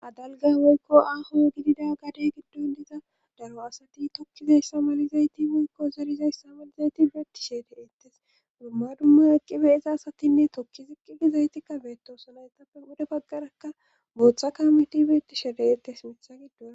adalga moykko aaho gidida gade giddon diza daro asati tokkizayssa malizayti moykko zarizayssa malizayti beetti shede ettes dumma dumma aqqibe iza asatinne tokki ziqqigi zaytikka beetosuna yetappe wude baggarakka booththa kameti beetti shede7ettes imitha giddo